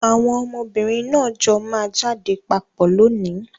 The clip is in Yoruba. Àwọn ọmọbìnrin náà jọ máa jáde papọ̀ lónìí.